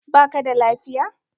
Ba ka da lafiya?